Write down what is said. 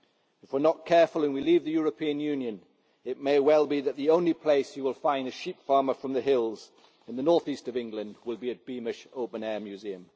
If we are not careful and we leave the European Union, it may well be that the only place you will find a sheep farmer from the hills in the North East of England will be at Beamish Open Air Museum.